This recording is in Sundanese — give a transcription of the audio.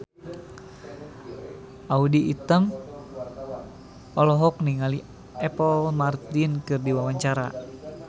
Audy Item olohok ningali Apple Martin keur diwawancara